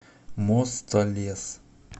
мостолес